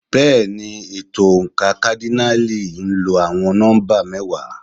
Bẹ́ẹ̀ni, ètò oǹkà kádínààlì ń lo àwọn nọ́mbà mẹ́wàá.